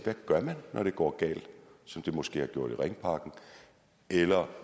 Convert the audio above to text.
man gør når det går galt som det måske har gjort i ringparken eller